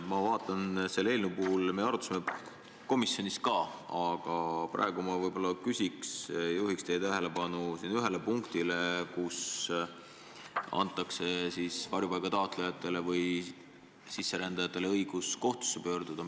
Me arutasime seda komisjonis ka, aga praegu ma juhin teie tähelepanu ühele punktile, millega antakse varjupaiga taotlejatele ja sisserändajatele õigus kohtusse pöörduda.